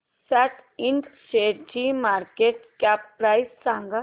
सॅट ind शेअरची market cap price सांगा